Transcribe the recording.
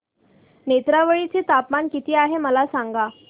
नेत्रावळी चे तापमान किती आहे मला सांगा